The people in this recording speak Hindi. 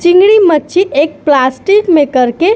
चिंगड़ी मच्छी एक प्लास्टिक में करके --